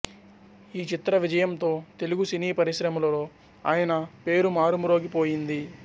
ఈ చిత్ర విజయంతో తెలుగు సినీ పరిశ్రమలో ఆయన పేరు మారుమ్రోగిపోయింది